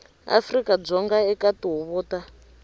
afrika dzonga eka tihuvo ta